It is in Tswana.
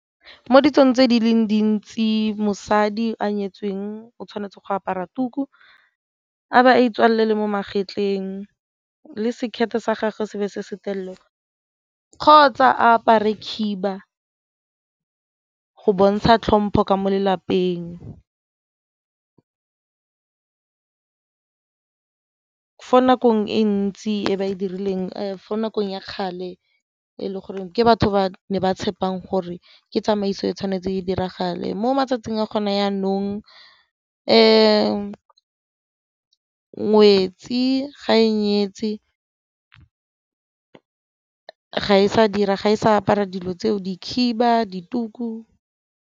Mo ditsong tse di leng dintsi mosadi a nyetsweng o tshwanetse go apara tuku, abo a itswalele le mo magetleng, le sekete sa gagwe se be se se telele kgotsa a apare khiba go bontsha tlhompo ka mo lelapeng. Fo nakong e ntsi e ba e dirileng fo nakong ya kgale e le goreng ke batho ba ne ba tshepang gore ke tsamaiso e tshwanetse di diragale. Mo matsatsing a gone jaanong ngwetsi ga e nyetse ga e sa dira ga e sa apara dilo tseo di khiba, dituku.